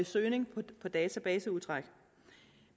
søgning på databaseudtræk